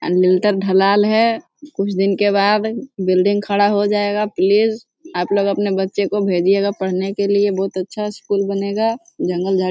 ढलाल है कुछ दिन के बाद बिल्डिंग खड़ा हो जाएगा प्लीज आप लोग अपने बच्चों को भेजिएगा पढ़ने के लिए बहुत अच्छा स्कूल बनेगा जंगल --